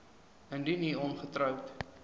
indien u ongetroud